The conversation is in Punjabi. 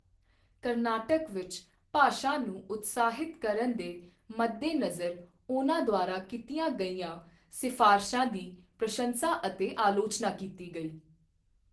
ਕਰਨਾਟਕ ਵਿੱਚ ਭਾਸ਼ਾ ਨੂੰ ਉਤਸ਼ਾਹਿਤ ਕਰਨ ਦੇ ਮੱਦੇਨਜ਼ਰ ਉਹਨਾਂ ਦੁਆਰਾ ਕੀਤੀਆਂ ਗਈਆਂ ਸਿਫਾਰਸ਼ਾਂ ਦੀ ਪ੍ਰਸ਼ੰਸਾ ਅਤੇ ਆਲੋਚਨਾ ਕੀਤੀ ਗਈ।